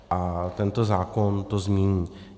A tento zákon to změní.